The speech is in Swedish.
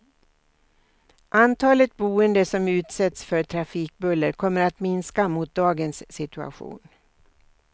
Antalet boende som utsätts för trafikbuller kommer att minska mot dagens situation.